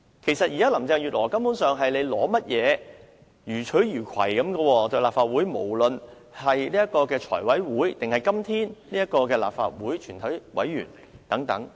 其實，現在林鄭月娥對立法會予取予攜，無論是在財務委員會或是今天舉行的立法會全體委員會會議......